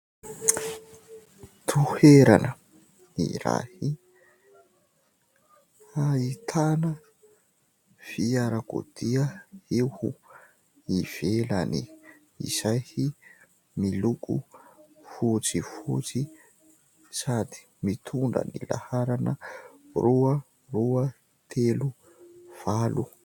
Toerana iray, ahitana fiarakodia eo ivelany izay miloko fotsifotsy sady mitondra ny laharana : roa, roa, telo, valo.